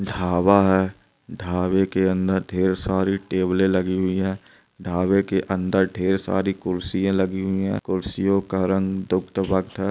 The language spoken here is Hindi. ढाबा है ढाबे के अंदर ढेर सारी टैबले लगी हुई है ढाबे के अंदर ढेर सारी कुर्सियां लगी हुई है कुर्सियों का रंग-- ]